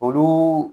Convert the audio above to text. Olu